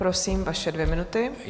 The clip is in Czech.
Prosím, vaše dvě minuty.